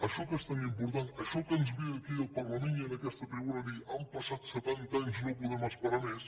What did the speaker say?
això que és tan important això que ens ve aquí al parlament i en aquesta tribuna a dir han passat setanta anys no podem esperar més